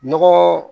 Nɔgɔ